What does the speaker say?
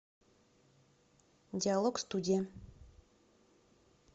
диалогстудия